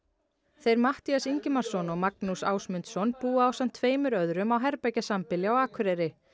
þeir Matthías Ingimarsson og Magnús Ásmundsson búa ásamt tveimur öðrum á herbergjasambýli á Akureyri